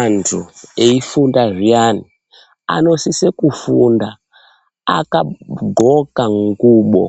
Antu eifunda zviyani anosise kufunda akadxoka ngubo